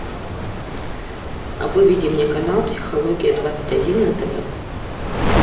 выведи мне канал психология двадцать один на тв